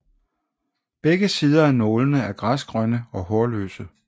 Begge sider af nålene er græsgrønne og hårløse